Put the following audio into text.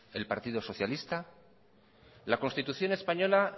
el partido socialista la constitución española